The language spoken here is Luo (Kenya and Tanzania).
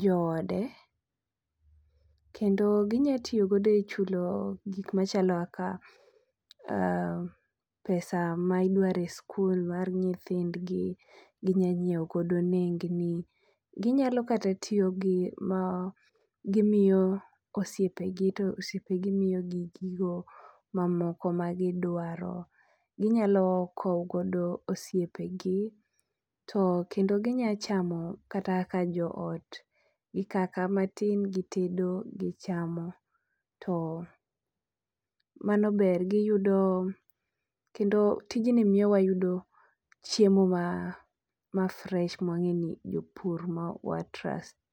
joode kendo ginyalo tiyo godo e chulo gik machalo kaka pesa ma idwaro e sikul ne nyithindgi gi nyalo nyiewo godo nengni ginyalo kata tiyogo gi miyo siepe to osiepegi miyo gigik mamoko magidwaro. Ginyalo kowo godo osiegi. To kendo ginyalo chamo kata kaka joot gikawo akawa matin gitedo, gichamo. To mano ber giyudo kendo tijni miyo wayudo chiemo ma fresh mang'eni jopur ma wa trust